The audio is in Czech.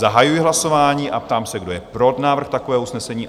Zahajuji hlasování a ptám se, kdo je pro návrh takového usnesení?